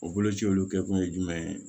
O boloci olu kɛkun ye jumɛn ye